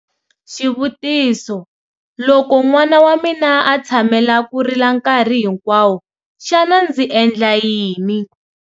Xivutiso- Loko n'wana wa mina a tshamela ku rila nkarhi hinkwawo, xana ndzi endla yini?